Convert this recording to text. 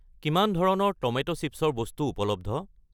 কিমান ধৰণৰ tomato chips ৰ বস্তু উপলব্ধ?